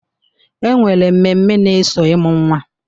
E nwere mmemme na-eso ịmụ nnwa.